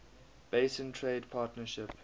basin trade partnership